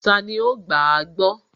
Tani ó gbàágbọ́?